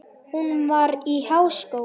Hún var í háskóla í